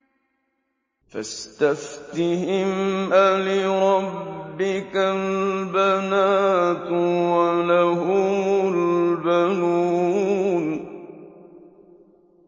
فَاسْتَفْتِهِمْ أَلِرَبِّكَ الْبَنَاتُ وَلَهُمُ الْبَنُونَ